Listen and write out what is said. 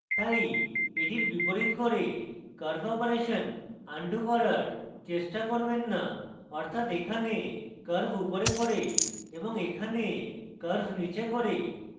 তাই এটির বিপরীত করে curve অপারেশন আনডু করার চেষ্টা করবেন so অর্থাৎ এখানে curve উপরে করে এবং এখানে curve নীচে করে